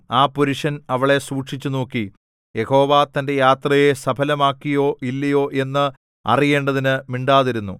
ആ പുരുഷൻ അവളെ സൂക്ഷിച്ച് നോക്കി യഹോവ തന്റെ യാത്രയെ സഫലമാക്കിയോ ഇല്ലയോ എന്ന് അറിയേണ്ടതിന് മിണ്ടാതിരുന്നു